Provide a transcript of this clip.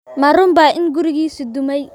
Ma runbaa in gurigiisii ​​dumay?